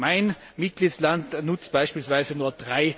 Mein Mitgliedsland nutzt beispielsweise nur